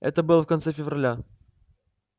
это было в конце февраля